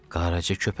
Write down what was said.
"Qaraca köpəyim."